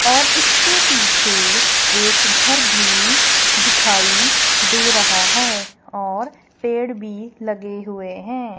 और इसके पीछे एक घर भी दिखाई दे रहा हैं और पेड़ भी लगे हुए हैं।